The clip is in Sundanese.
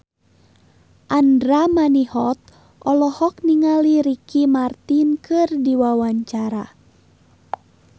Andra Manihot olohok ningali Ricky Martin keur diwawancara